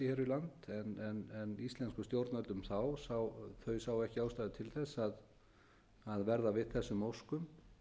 olíu og gasi hér við land en íslensk stjórnvöld þá sáu ekki ástæðu til þess að verða við þessum óskum